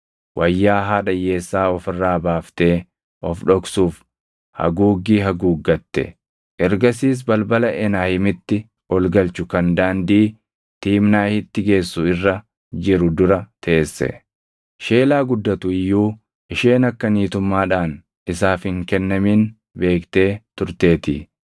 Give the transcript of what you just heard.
wayyaa haadha hiyyeessaa of irraa baaftee of dhoksuuf haguuggii haguuggatte; ergasiis balbala Enaayimitti ol galchu kan daandii Tiimnaahitti geessu irra jiru dura teesse. Sheelaa guddatu iyyuu isheen akka niitummaadhaan isaaf hin kennamin beektee turteetii.